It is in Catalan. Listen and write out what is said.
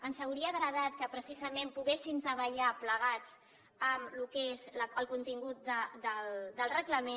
ens hauria agradat que precisament poguéssim treballar plegats en el que és el contingut del reglament